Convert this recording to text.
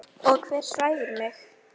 Og hver svæfir mig?